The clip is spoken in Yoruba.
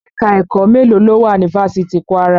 Ẹ̀ka-ẹ̀kọ́ mélóò ló wà ni fáfitì Kwara?